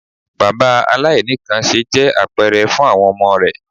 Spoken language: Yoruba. Bàbá aláìníkanńṣe jẹ́ àpẹrẹ fún àwọn ọmọ rẹ̀.